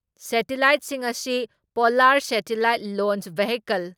ꯁꯦꯇꯤꯂꯥꯏꯠꯁꯤꯡ ꯑꯁꯤ polar satellite launch vehicle